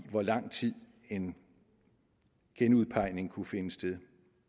hvor lang tid en genudpegning kunne finde sted